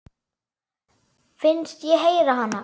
Finnst ég heyra hana.